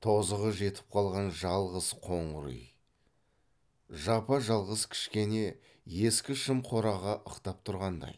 тозығы жетіп қалған жалғыз қоңыр үй жапа жалғыз кішкене ескі шым қораға ықтап тұрғандай